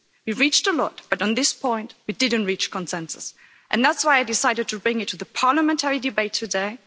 We've reached a lot, but on this point we didn't reach consensus, and that's why I decided to bring it to the parliamentary debate today.